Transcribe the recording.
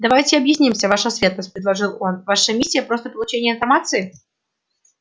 давайте объяснимся ваша светлость предложил он ваша миссия просто получение информации